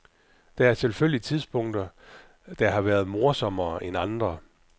Der er selvfølgelig tidspunkter, der har været morsommere end andre.